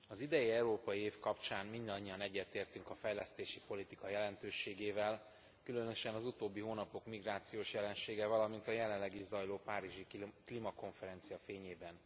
Az idei európai év kapcsán mindannyian egyetértünk a fejlesztési politika jelentőségével, különösen az utóbbi hónapok migrációs jelensége, valamint a jelenleg is zajló párizsi klímakonferencia fényében.